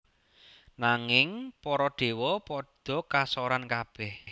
Nanging para déwa padha kasoran kabèh